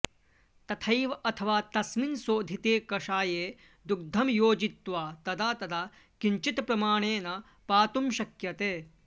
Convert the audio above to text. तथैव अथवा तस्मिन् शोधिते कषाये दुग्धं योजयित्वा तदा तदा किञ्चित्प्रमाणेन पातुं शक्यते